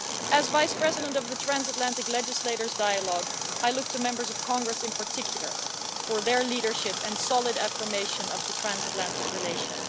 As Vice President of the Transatlantic Legislators Dialogue, I look to members of Congress in particular for their leadership and solid affirmation of the Transatlantic Relation.